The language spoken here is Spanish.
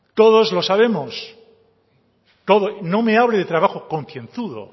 todos lo sabemos no me hable de trabajo concienzudo